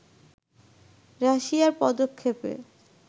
রাশিয়ার পদক্ষেপে